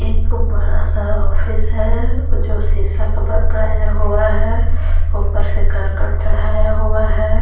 एक बड़ा सा ऑफिस है जो शीशा का बनाया हुआ है ऊपर से कर्कट चढ़ाया हुआ है।